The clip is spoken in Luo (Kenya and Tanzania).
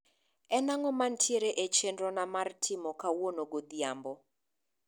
en ang`o mantiere e chenro na mar timo kauno godhiembo